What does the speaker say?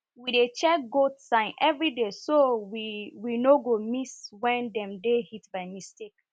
we dey check goats signs everyday so we we no go miss when dem dey heat by mistake